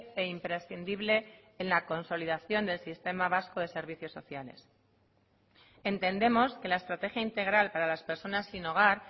e imprescindible en la consolidación del sistema vasco de servicios sociales entendemos que la estrategia integral para las personas sin hogar